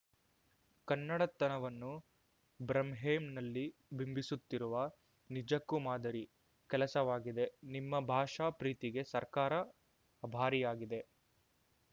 ಕನ್ನಡತನವನ್ನು ಬ್ರಾಂಹೇನ್‌ನಲ್ಲಿ ಬಿಂಬಿಸುತ್ತಿರುವ ನಿಜಕ್ಕೂ ಮಾದರಿ ಕೆಲಸವಾಗಿದೆ ನಿಮ್ಮ ಭಾಷಾ ಪ್ರೀತಿಗೆ ಸರ್ಕಾರ ಆಭಾರಿಯಾಗಿದೆ